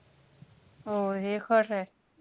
हो. हे खरंय.